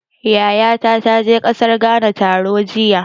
Yayata ta je ƙasar Ghana taro jiya.